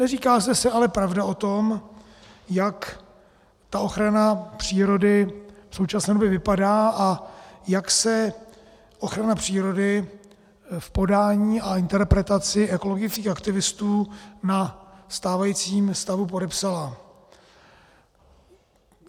Neříká se zde ale pravda o tom, jak ta ochrana přírody v současné době vypadá a jak se ochrana přírody v podání a interpretaci ekologických aktivistů na stávajícím stavu podepsala.